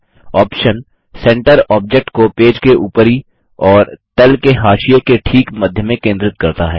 option centre object को page के ऊपरी और तल के हाशिये के ठीक मध्य में केंद्रित करता है